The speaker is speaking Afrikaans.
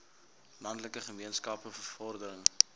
landelike gemeenskappe bevordering